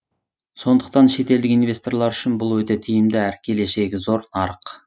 сондықтан шетелдік инвесторлар үшін бұл өте тиімді әрі келешегі зор нарық